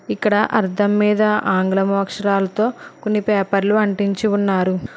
ఇక్కడ అధం మీద ఆంగ్లం అక్షరాలతో నీ పేపర్లు అంటించి ఉన్నారు.